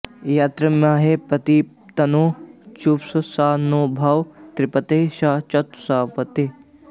यत्त्वेम॑हे॒ प्रति॒ तन्नो॑ जुषस्व॒ शं नो॑ भव द्वि॒पदे॒ शं चतु॑ष्पदे